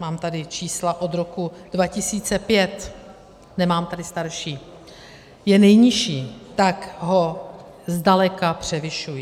mám tady čísla od roku 2005, nemám tedy starší, je nejnižší, tak ho zdaleka převyšují.